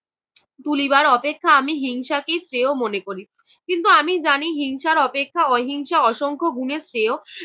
তুলিবার অপেক্ষা আমি হিংসাকেই শ্রেয় মনে করি। কিন্তু আমি জানি হিংসার অপেক্ষা অহিংসা অসংখ্য গুণে শ্রেয়।